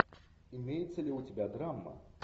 имеется ли у тебя драма